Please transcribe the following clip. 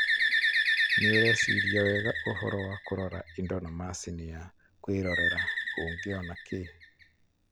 nĩũreciria wega ũhoro wa kũrora indo ma macini ya kwĩrorera, ũngĩona kĩ?